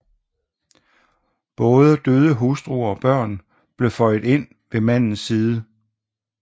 Både døde hustruer og børn blev føjet ind ved mandens side